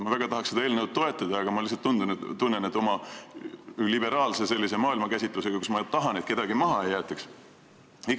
Ma väga sooviks seda eelnõu toetada, aga ma lihtsalt tahan oma liberaalse maailmakäsituse tõttu, et kedagi ei jäetaks maha.